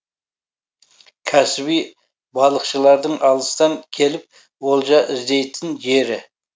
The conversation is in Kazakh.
кәсіби балықшылардың алыстан келіп олжа іздейтін жері